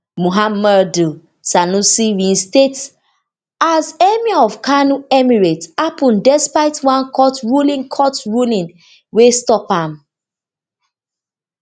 muhammaudu sanusi reinstatement as emir of kano emirate happun despite one court ruling court ruling wey stop am